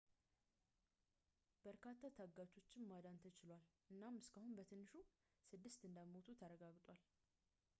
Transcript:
በርካታ ታጋቾችን ማዳን ተችሏል እናም እስካሁን በትንሹ ስድስት እንደሞቱ ተረጋግጧል